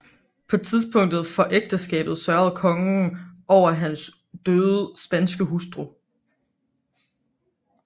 På tidspunktet for ægteskabet sørgede kongen over hans døde spanske hustru